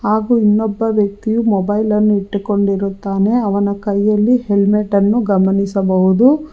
ಹಾಗು ಇನ್ನೊಬ್ಬ ವ್ಯಕ್ತಿಯು ಮೊಬೈಲ್ ಅನ್ನು ಇಟ್ಟುಕೊಂಡಿರುತ್ತಾನೆ ಅವನ ಕೈಯಲ್ಲಿ ಹೆಲ್ಮೆಟ್ ಅನ್ನು ಗಮನಿಸಬಹುದು.